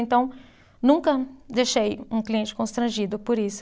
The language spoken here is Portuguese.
Então, nunca deixei um cliente constrangido por isso.